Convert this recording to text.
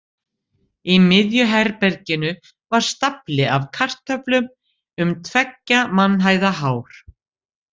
Í miðju herberginu var stafli af kartöflum, um tveggja mannhæða hár.